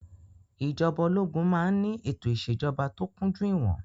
Ìjọba ológun máa ń ní ètò ìṣèjọba tó kúnjú ìwọn.